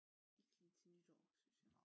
Ikke lige til nytår synes jeg